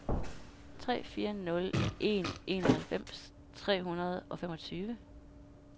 tre fire nul en enoghalvfems tre hundrede og femogtyve